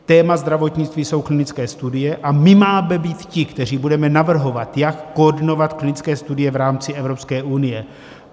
Téma zdravotnictví jsou klinické studie a my máme být ti, kteří budeme navrhovat, jak koordinovat klinické studie v rámci Evropské unie.